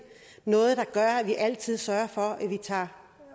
noget der gør at vi altid sørger for at vi tager